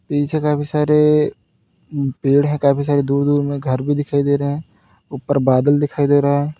पीछे काफी सारे उम्म पेड़ हैं। काफी सारे दूर-दूर में घर भी दिखाई दे रहे हैं। ऊपर बादल दिखाई दे रहा है।